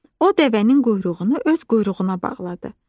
O dəvənin quyruğunu öz quyruğuna bağladı.